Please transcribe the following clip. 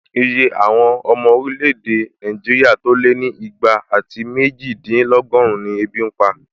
Iye àwọn ọmọ orílẹ̀-èdè Nàìjíríà tó lé ní ìgbà àti méjìdínlọ́gọ́run ni ebi n pa